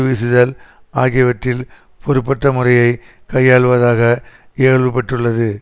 வீசுதல் ஆகியவற்றில் பொறுப்பற்ற முறையை கையாள்வதாக இகழ்வு பெற்றுள்ளது